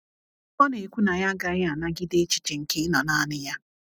Ọ na - ekwu na ya agaghị anagide echiche nke ịnọ nanị ya.